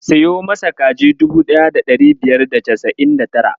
Siyo masa kaji dubu ɗaya da ɗari biyar da casa'in da tara.